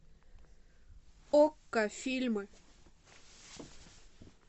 окко фильмы